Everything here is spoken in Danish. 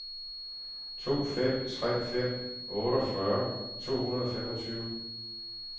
to fem tre fem otteogfyrre to hundrede og femogtyve